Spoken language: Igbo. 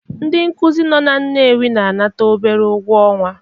Ndị nkuzi nọ na Nnewi na-anata obere ụgwọ ọnwa